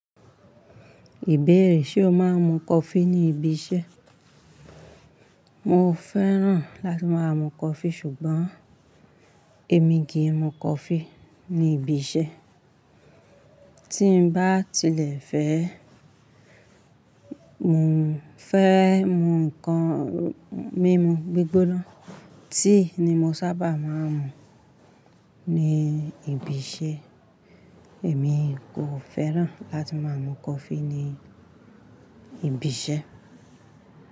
Ìbéèrè, ṣe o máa ń mu Kofi ní ibiṣẹ́? Mo fẹ́ràn láti máa mu kofi ṣùgbọ́n èmi kì í mu kofi ní ibiṣẹ́. Tí ń bá tilẹ̀ fẹ́, mu fẹ́ mu ǹkan mímu gbígbóná. Tíì ni mo sábà máa ń mu ní ibiṣẹ́. Èmi kò fẹ́ràn láti máa mu coffee ní ibiṣẹ́